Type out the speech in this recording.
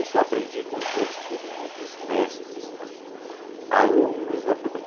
Isso eu aprendi com os meus queridos mestres, alunos da Febem.